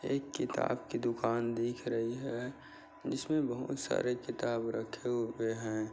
एक किताब की दुकान दिख रही है जिसमे बहुत सारे किताब रखे हुए है।